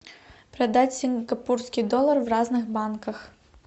продать сингапурский доллар в разных банках